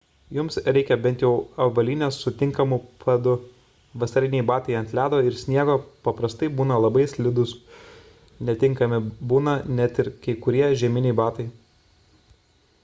jums reikia bent jau avalynės su tinkamu padu vasariniai batai ant ledo ir sniego paprastai būna labai slidūs netinkami būna net ir kai kurie žieminiai batai